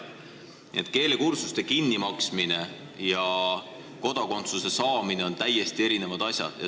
Nii et keelekursuste kinnimaksmine ja kodakondsuse saamine on täiesti erinevad asjad.